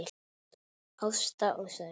Ásta og Sævar.